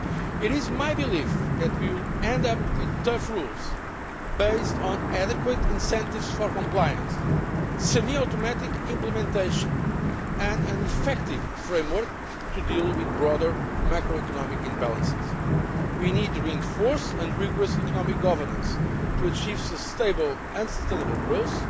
It is my belief that we will end up with tough rules, based on adequate incentives for compliance, semi automatic implementation and an effective framework to deal with broader macro economic imbalances. We need reinforced and rigorous economic governance to achieve stable and sustainable growth,